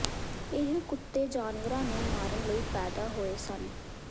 ਇਹ ਕੁੱਤੇ ਜਾਨਵਰਾਂ ਨੂੰ ਮਾਰਨ ਲਈ ਪੈਦਾ ਹੋਏ ਸਨ